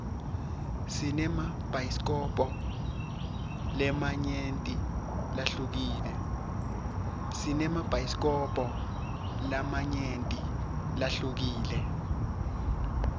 sinemabhayisikobho lamanyenti lahlukile